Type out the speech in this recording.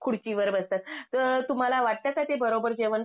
खुर्चीवर बसतात तर तुम्हाला वाटत का ते बरोबर जेवण?